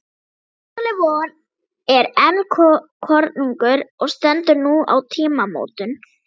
Háskóli vor er enn kornungur og stendur nú á tímamótum.